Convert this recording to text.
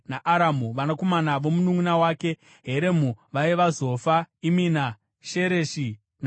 Vanakomana vomununʼuna wake Heremu vaiva: Zofa, Imina, Shereshi, naAmari.